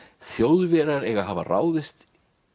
Þjóðverjar eiga að hafa ráðist